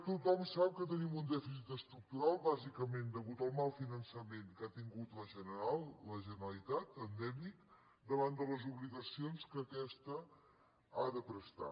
tothom sap que tenim un dèficit estructural bàsicament degut al mal finançament que ha tingut la generalitat endèmic davant de les obligacions que aquesta ha de prestar